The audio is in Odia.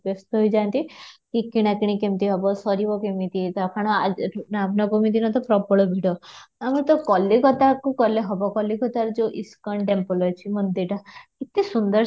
ରହି ଯାଆନ୍ତି କି କିଣା କିଣି କେମିତି ହେବ ସାରିବା କେମିତି ତା ଫୁଣି ଆଜି ଏଠି ରାମ ନବମୀ ଦିନ ତ ପ୍ରବଳ ଭିଡ଼, ଆମେ ତ କଳିକତାକୁ ଗଲେ ହେବ କଲିକତାରେ ଯଉ ଇସ୍କନ temple ଅଛି ମନ୍ଦିରଟା ଏତେ ସୁନ୍ଦର